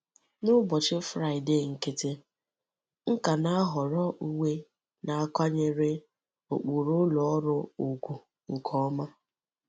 N'ụbọchị Fraịdee nkịtị, m ka na ahọrọ uwe na akwanyere ụkpụrụ ụlọ ọrụ ùgwù nke ọma.